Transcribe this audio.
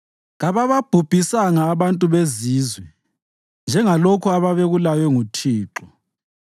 Kabababhubhisanga abantu bezizwe njengalokhu ababekulaywe nguThixo,